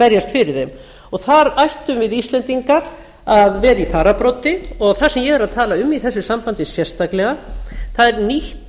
berjast fyrir þeim og þær ættum við íslendingar að vera í fararbroddi og það sem ég er að tala um í þessu sambandi sérstaklega er nýtt